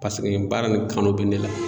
Paseke nin baara nin kanu bɛ ne la